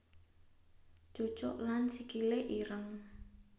Cucuk lan Sikile ireng